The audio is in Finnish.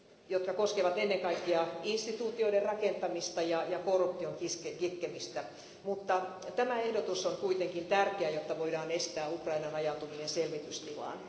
jotka koskevat ennen kaikkea instituutioiden rakentamista ja korruption kitkemistä, mutta tämä ehdotus on kuitenkin tärkeä, jotta voidaan estää Ukrainan ajautuminen selvitystilaan.